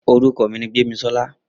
Orúkọ mi ni Gbémisọ́lá.